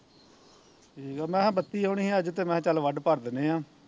ਠੀਕ ਆ ਮੈਂ ਕਿਹਾਂ ਬੱਤੀ ਆਉਣੀ ਸੀ ਅੱਜ ਤੇ ਮੈਂ ਕਿਹਾ ਚੱਲ ਵੱਢ ਭਰ ਦਿਨੇ ਆ